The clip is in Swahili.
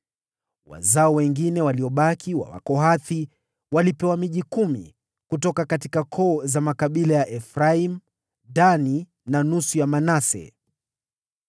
Wazao wengine waliobaki wa Wakohathi walipewa miji kumi kutoka koo za makabila ya Efraimu, Dani na nusu ya Manase.